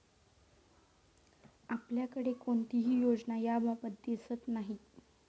आपल्याकडे कोणतीही योजना याबाबत दिसत नाही.